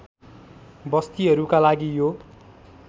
बस्तीहरूका लागि यो